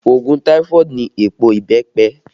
Òògùn taifoodu ni èèpo ìbẹ́pẹ